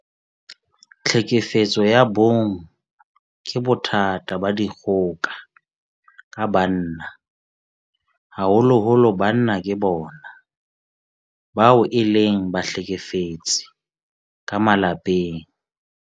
Tlhekefetso ya bong ke bothata ba dikgoka ka banna. Haholoholo banna ke bona bao e leng bahlekefetsi ka malapeng.